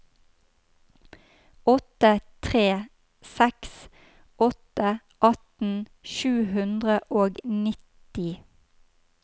åtte tre seks åtte atten sju hundre og nitti